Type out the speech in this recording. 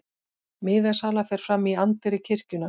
Miðasala fer fram í anddyri kirkjunnar